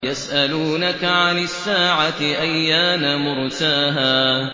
يَسْأَلُونَكَ عَنِ السَّاعَةِ أَيَّانَ مُرْسَاهَا